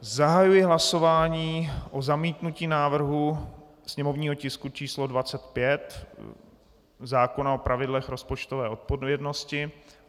Zahajuji hlasování o zamítnutí návrhu sněmovního tisku číslo 25, zákona o pravidlech rozpočtové odpovědnosti.